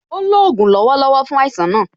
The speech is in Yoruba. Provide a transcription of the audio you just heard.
Ó ń lò ògùn lọ́wọ́lọ́wọ́ fún àìsàn náà